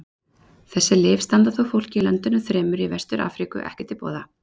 Þessi lyf standa þó fólki í löndunum þremur í Vestur-Afríku ekki til boða.